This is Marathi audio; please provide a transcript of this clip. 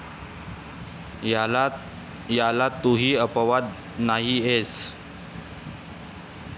याला तूही अपवाद नाहीयेस.